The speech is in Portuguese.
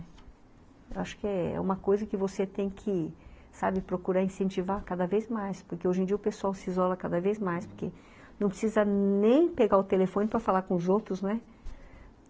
Acho que é uma coisa que você tem que, sabe, procurar incentivar cada vez mais, porque hoje em dia o pessoal se isola cada vez mais, porque não precisa nem pegar o telefone para falar com os outros, né?